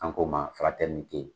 An ko ma